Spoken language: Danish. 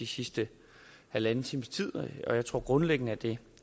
sidste halvanden times tid og jeg tror grundlæggende at det